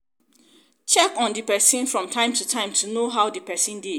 check on di person from time to time to know how di person dey